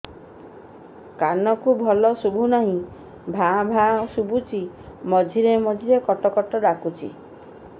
କାନକୁ ଭଲ ଶୁଭୁ ନାହିଁ ଭାଆ ଭାଆ ଶୁଭୁଚି ମଝିରେ ମଝିରେ କଟ କଟ ଡାକୁଚି